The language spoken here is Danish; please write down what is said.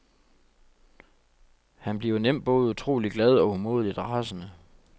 Han bliver nemt både utroligt glad og umådeligt rasende.